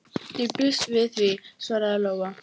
Ég býst við því, svaraði Lóa.